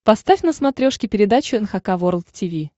поставь на смотрешке передачу эн эйч кей волд ти ви